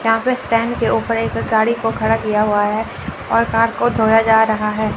यहां पे स्टैंड के ऊपर एक गाड़ी को खड़ा किया हुआ है और कार को धोया जा रहा है।